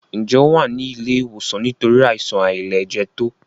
Njé o wá ní ilé ìwòsan nítorí Àìsàn àìlẹjẹtó?